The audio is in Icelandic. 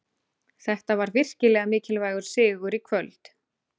Þetta var virkilega mikilvægur sigur í kvöld.